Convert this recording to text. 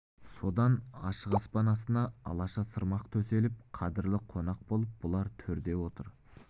содан ашық аспан астына алаша сырмақ төселіп қадірлі қонақ болып бұлар төрде отырды